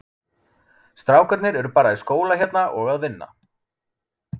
Strákarnir eru bara í skóla hérna og að vinna.